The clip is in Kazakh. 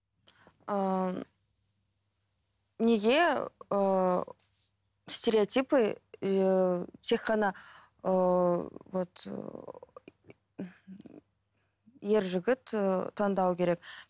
ыыы неге ыыы стереотипы ыыы тек қана ыыы вот ер жігіт ы таңдау керек